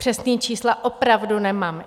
Přesná čísla opravdu nemám.